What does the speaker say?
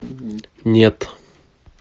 нет